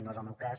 no és el meu cas